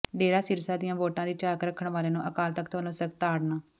ਡੇਰਾ ਸਿਰਸਾ ਦੀਆਂ ਵੋਟਾਂ ਦੀ ਝਾਕ ਰੱਖਣ ਵਾਲਿਆਂ ਨੂੰ ਅਕਾਲ ਤਖ਼ਤ ਵਲੋਂ ਸਖ਼ਤ ਤਾੜਨਾ